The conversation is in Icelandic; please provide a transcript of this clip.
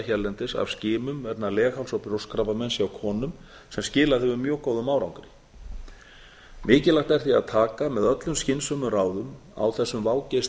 hérlendis af skimun vegna legháls og brjóstakrabbameins hjá konum sem skilað hefur góðum árangri mikilvægt er því að taka með öllum skynsömum ráðum á þessum vágesti